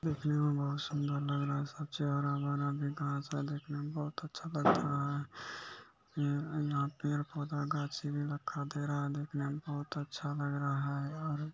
यह एक गार्डन है जिधर बहुत सारे बच्चे बैठे हुए हैं और साइड में कुछ टीचर्स भी बैठी हुई हैं जो की साड़ी पहनी हुई हैं।